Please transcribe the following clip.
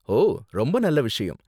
ஓ! ரொம்ப நல்ல விஷயம்